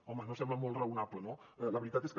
home no sembla molt raonable no la veritat és que